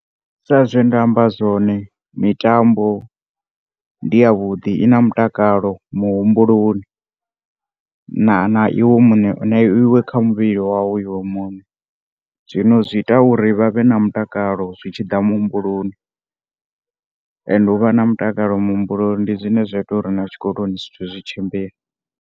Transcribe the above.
Sa zwe nda amba zwone, mitambo ndi ya vhuḓi. I na mutakalo muhumbuloni. Na, na iwe muṋe, na iwe kha muvhili wau iwe muṋe zwi ita uri vha vhe na mutakalo zwi tshiḓa muhumbuloni, and u vha na mutakalo muhumbuloni ndi zwine zwa ita uri na tshikoloni zwithu zwi tshimbile.